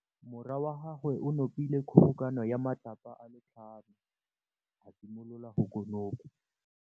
Morwa wa gagwe o nopile kgobokanô ya matlapa a le tlhano, a simolola go konopa.